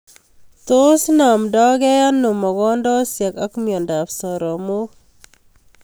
Tos namndaikei ano mogondosoik ak mnyondob soromoik